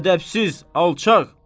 Ədəbsiz, alçaq!